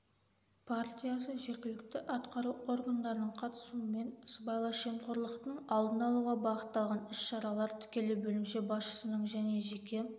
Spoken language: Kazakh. партиясы жергілікті атқару органдарының қатысуымен сыбайлас жемқорлықтың алдын-алуға бағытталған іс-шаралар тікелей бөлімше басшысының және жеке